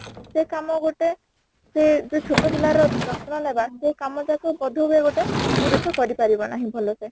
ସେ କାମ ଗୋଟେ ସେ ଯୋଉ ଛୋଟ ପିଲା ର ଯତ୍ନ ନବା ସେଇ କାମ ତାକୁ ବୋଧ ହୁଏ ଗୋଟେ ପୁରୁଷ କରି ପାରିବ ନାହିଁ ଭଲ ସେ